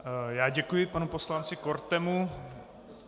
Já děkuji panu poslanci Kortemu.